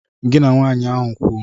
Gị na nwaanyị ahụ kwuo.